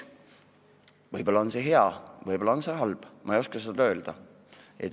Võib-olla on see hea, võib-olla on see halb, ma ei oska öelda.